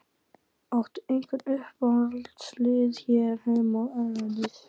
Áttu einhver uppáhaldslið hér heima og erlendis?